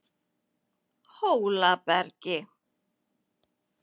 Hólabergi